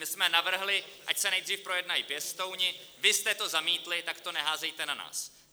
My jsme navrhli, ať se nejdříve projednají pěstouni, vy jste to zamítli, tak to neházejte na nás.